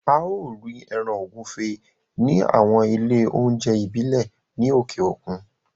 A ó rí ẹran ògúnfe ní àwọn ilé oúnjẹ ìbílẹ̀ ní òkè òkun